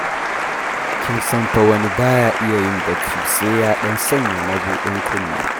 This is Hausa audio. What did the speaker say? Kin san wani fa ba ya iya yin bacci sai ya ɗan sanya mabuɗin kunne.